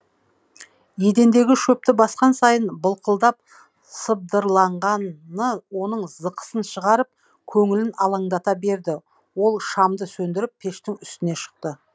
едендегі шөпті басқан сайын былқылдап сыбдырланғаны оның зықысын шығарып көңілін алаңдата берді ол шамды сөндіріп пештің үстіне шықты